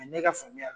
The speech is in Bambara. ne ka faamuyali